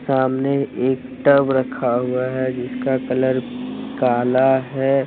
सामने एक टब रखा हुआ है जिसका कलर काला है।